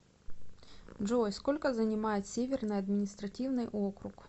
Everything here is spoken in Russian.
джой сколько занимает северный административный округ